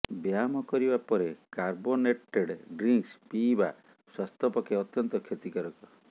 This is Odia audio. ବ୍ୟାୟାମ କରିବା ପରେ କାର୍ବୋନେଟେଡ୍ ଡ୍ରିଙ୍କସ୍ ପିଇବା ସ୍ୱାସ୍ଥ୍ୟ ପକ୍ଷେ ଅତ୍ୟନ୍ତ କ୍ଷତିକାରକ